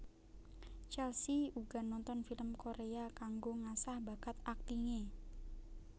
Chelsea uga nonton film Korea kanggo ngasah bakat aktinge